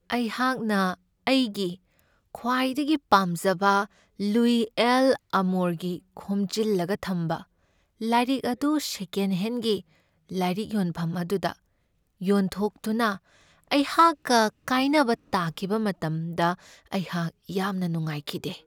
ꯑꯩꯍꯥꯛꯅ ꯑꯩꯒꯤ ꯈ꯭ꯋꯥꯏꯗꯒꯤ ꯄꯥꯝꯖꯕ ꯂꯨꯏ ꯑꯦꯜ'ꯑꯥꯃꯣꯔꯒꯤ ꯈꯣꯝꯖꯤꯜꯂꯒ ꯊꯝꯕ ꯂꯥꯏꯔꯤꯛ ꯑꯗꯨ ꯁꯦꯀꯦꯟꯍꯦꯟꯒꯤ ꯂꯥꯏꯔꯤꯛ ꯌꯣꯟꯐꯝ ꯑꯗꯨꯗ ꯌꯣꯟꯊꯣꯛꯇꯨꯅ ꯑꯩꯍꯥꯛꯀ ꯀꯥꯏꯅꯕ ꯇꯥꯈꯤꯕ ꯃꯇꯝꯗ ꯑꯩꯍꯥꯛ ꯌꯥꯝꯅ ꯅꯨꯡꯉꯥꯏꯈꯤꯗꯦ ꯫